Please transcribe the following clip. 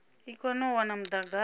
i kone u wana mudagasi